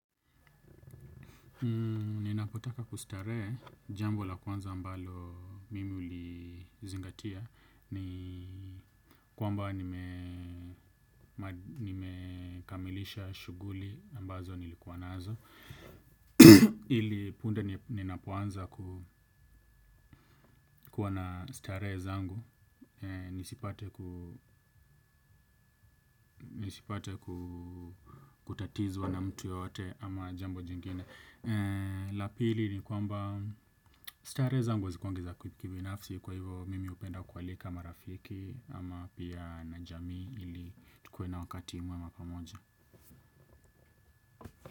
Ninapotaka kustaree jambo la kwanza ambalo mimi hulizingatia ni kwamba nime nimekamilisha shughuli ambazo nilikuwa nazo ili punde ninapoanza kuwa na starehe zangu. Nisipate kutatizwa na mtu yeyote ama jambo jingine. La pili ni kwamba starehe zangu hazikuangi za kibinafsi. Kwa hivyo mimi hupenda kualika marafiki. Ama pia na jamii ili tukue na wakati mwema pamoja.